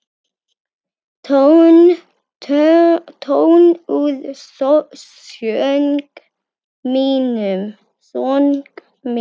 Tónn úr söng mínum.